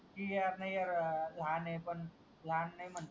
कि कि यार लहान ए पण लहान नाय म्हणता